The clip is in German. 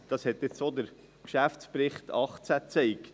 Dies hat auch der Geschäftsbericht 2018 gezeigt.